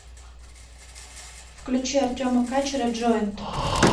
включи артема качера джоинт